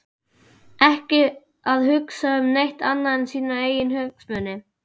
Ekki að hugsa um neitt annað en sína eigin hagsmuni!